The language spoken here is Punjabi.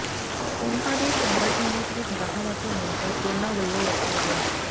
ਉਨ੍ਹਾਂ ਦੇ ਚੈਂਬਰ ਸੰਗੀਤ ਵਿਚ ਬ੍ਰਾਹਮ ਅਤੇ ਮੋਂਟੇਟ ਦੋਨਾਂ ਵਲੋਂ ਵਰਤਿਆ ਗਿਆ